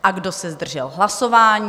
A kdo se zdržel hlasování?